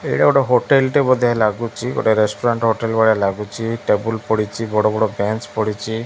ଏଇଟା ଗୋଟେ ହୋଟେଲ୍ ଟେ ବୋଧେ ଲାଗୁଚି ଗୋଟେ ରେଷ୍ଟୁରାଣ୍ଟ୍ ହୋଟେଲ୍ ଭଳିଆ ଲାଗୁଚି ଟେବୁଲ୍ ପଡ଼ିଚି ବଡ଼ ବଡ଼ ବେଞ୍ଚ୍ ପଡ଼ିଚି ।